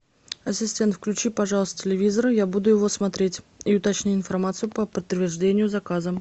ассистент включи пожалуйста телевизор я буду его смотреть и уточни информацию по подтверждению заказа